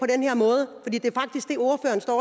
en hundrede